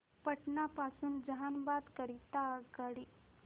पटना पासून जहानाबाद करीता आगगाडी